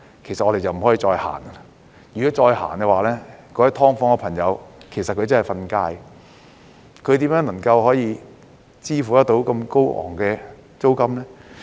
如果繼續實行，居於"劏房"的朋友便真的要"瞓街"，他們如何可支付這麼高昂的租金呢？